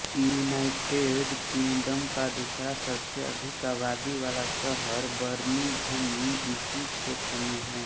United Kingdom का दूसरा सबसे अधिक आबादी वाला शहर बर्मिंघम इसी क्षेत्र में हैं